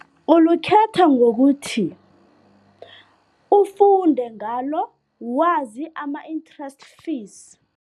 Ulukhetha ngokuthi, ufunde ngalo, wazi ama-interest fees.